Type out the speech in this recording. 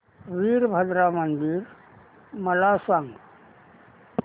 वीरभद्रा मंदिर मला सांग